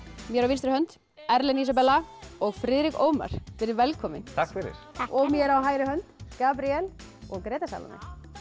mér á vinstri hönd Erlen Ísabella og Friðrik Ómar verið velkomin takk fyrir og mér á hægri hönd Gabríel og Gréta Salóme